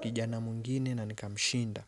kijana mwingine na nikamshinda.